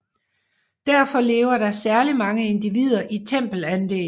Derfor lever der særligt mange individer i tempelanlæg